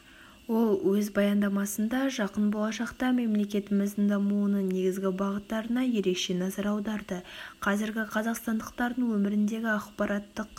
ол өз баяндамасында жақын болашақта мемлекетіміздің дамуының негізгі бағыттарына ерекше назар аударды қазіргі қазақстандықтардың өміріндегі ақпараттық